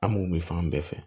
An m'o min fan bɛɛ fɛ